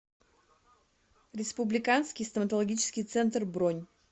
республиканский стоматологический центр бронь